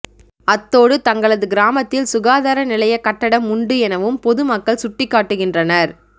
அத்தோடு தங்களது கிராமத்தில் சுகாதார நிலையக் கட்டடம் உண்டு எனவும் பொது மக்கள் சுட்டிக்காட்டுகின்றனர்